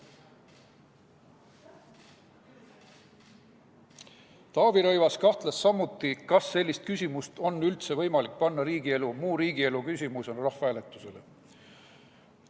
Taavi Rõivas kahtles samuti, kas sellist küsimust on üldse võimalik panna muu riigielu küsimusena rahvahääletusele.